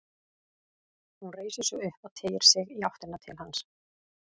Hún reisir sig upp og teygir sig í áttina til hans.